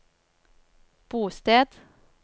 bosted